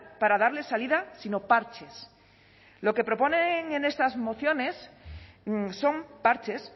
para darle salida sino parches lo que proponen en estas mociones son parches